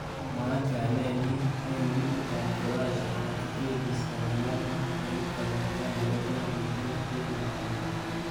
Mwaat kainet nyi eng ligit ab Croatia akibelis konyil ang'wan eng kasarta nebo 2018 ak 2019.